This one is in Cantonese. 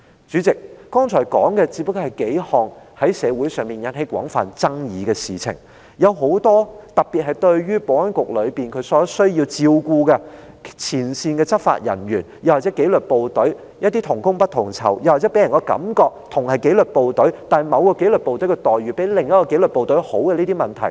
主席，剛才提到的不過是數項在社會上引起廣泛爭議的事情，其他有待特別關注的問題，包括保安局內部需要照顧的前線執法人員，又或是紀律部隊同工不同酬的問題：大家同屬紀律部隊，但某個紀律部隊的待遇卻比另一個紀律部隊好這些問題。